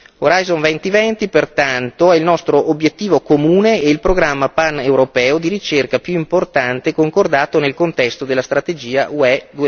Horizon 2020 pertanto è il nostro obiettivo comune e il programma paneuropeo di ricerca più importante concordato nel contesto della strategia UE